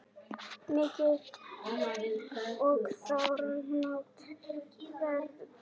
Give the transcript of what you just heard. Mikil og þrálát verðbólga hefur áhrif á vexti og lánakjör.